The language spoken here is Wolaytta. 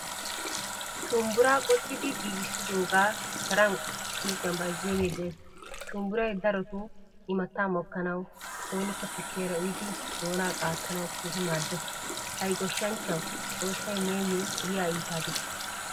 Shumbburaa qoxxidi giigisidoga sharan suuqiyan bayzziyoge de'ees. Shumbburay darotto immatta mokkanawu, soonikka tukkiyaara uyyidi doonaa qaattanawu keehin maddees. Hay goshshanchchawu xoossay niyo yiya iita diggo.